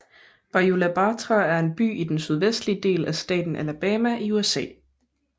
Bayou La Batre er en by i den sydvestlige del af staten Alabama i USA